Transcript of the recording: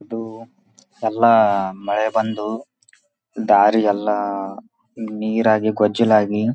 ಇಲ್ಲಿ full traffic ಆಗೇದ. ಒಂದುಕ್ಕೊಂದು ಹೋಗಕ್ಕೆ ರೋಡ್ ಎ ಇಲ್ಲದಂಗ್ ಆಗೇದ. ಫುಲ್ ಮಳೆ ಬಂದ್ ಬಿಟ್ಟದ.